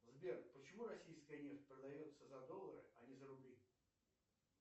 сбер почему российская нефть продается за доллары а не за рубли